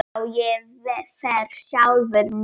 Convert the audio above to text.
Já, ég fer sjálfur með